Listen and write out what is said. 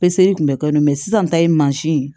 Peseli kun bɛ kɛ n na sisan ta ye ye